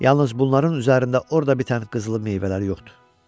Yalnız bunların üzərində orda bitən qızılı meyvələr yoxdur.